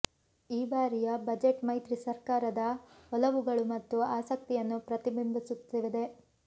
ಈ ಬಾರಿಯ ಬಜೆಟ್ ಮೈತ್ರಿ ಸರ್ಕಾರದ ಒಲವುಗಳು ಮತ್ತು ಆಸಕ್ತಿಯನ್ನು ಪ್ರತಿಬಿಂಬಿಸುತ್ತಿದೆ